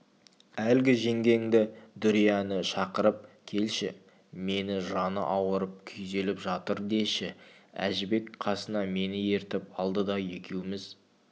әлгі жеңгеңді дүрияны шақырып келші мені жаны ауырып күйзеліп жатыр деші әжібек қасына мені ертіп алды да екеуміз